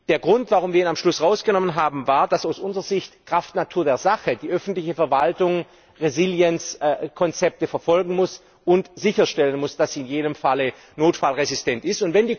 Der Grund, warum wir ihn am Schluss rausgenommen haben, war, dass aus unserer Sicht kraft Natur der Sache die öffentliche Verwaltung Resilienzkonzepte verfolgen und sicherstellen muss, dass sie in jedem Fall notfallresistent ist.